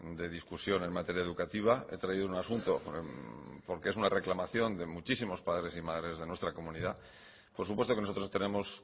de discusión en materia educativa he traído un asunto porque es una reclamación de muchísimos padres y madres de nuestra comunidad por supuesto que nosotros tenemos